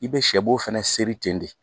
I bɛ sɛbo fana seri ten de